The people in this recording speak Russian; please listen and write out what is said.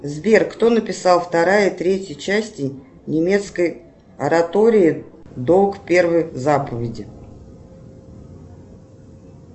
сбер кто написал вторая и третья части немецкой оратории долг первой заповеди